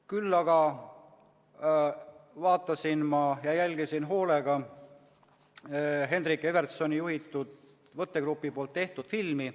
Küll aga vaatasin ja jälgisin hoolega Henrik Evertssoni juhitud võttegrupi tehtud filmi.